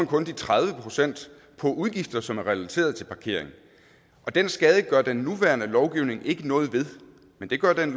kun de tredive procent på udgifter som er relateret til parkering den skade gør den nuværende lovgivning ikke noget ved men det gør det